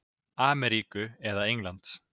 Ameríku eða Englands.